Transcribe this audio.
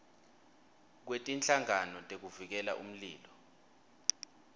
kwetinhlangano tekuvikela umlilo